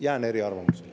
Jään eriarvamusele.